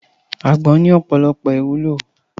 Àgbọ̀n ní ọ̀pọ̀lọpọ̀ ìwúlò